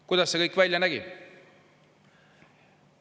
Kuidas see kõik välja nägi?